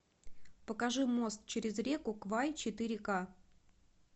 покажи мост через реку квай четыре ка